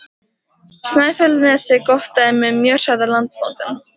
Snæfellsnesi gott dæmi um mjög hraða landmótun.